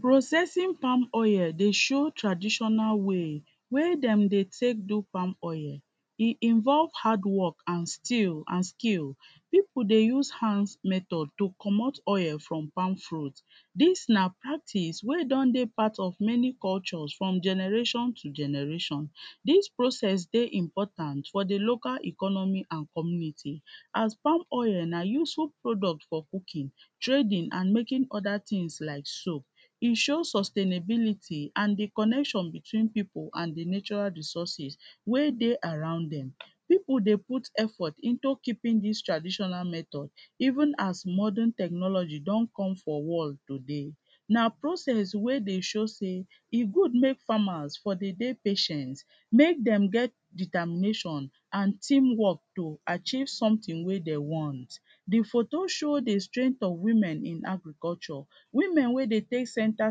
Processing palm oil dey show traditional way wey dem dey take do palm oil, e involve hardwork and still and skill, pipu dey use hand method to comot oil from palm fruit, dis na practice wey don dey part of many culture from generation to generation dis process dey important for di local economy and community as palm oil na useful product, trading and making oda tins like soap, e sure sustainability and di connection pipu and di natural resources wey dey around dem, pipu dey put efforts into keeping dis traditional method even as modern technology don come for world today na process wey dey show sey e good wey farmers dey dey patient make dem get determination and team work to achieve sometin wey dem want. Di photo show di strength of women in agriculture, women wey dey take center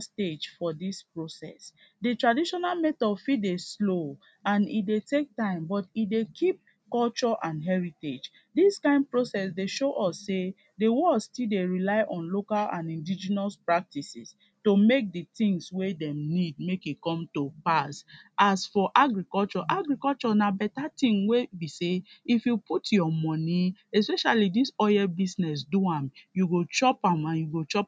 stage for dis process, di traditional method fit dey slow and e dey take time but e dey keep culture and heritage, dis kind process dey show us sey di world still dey rely on local and indigenous practices to make di tins wey dem need make e come to pass. as for agriculture, agriculture na better tin wey be sey if you put your money especially dis oil business do am you go chop am and you go chop.